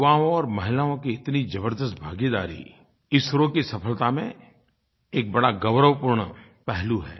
युवाओं और महिलाओं की इतनी ज़बरदस्त भागीदारी इसरो की सफलता में एक बड़ा गौरवपूर्ण पहलू है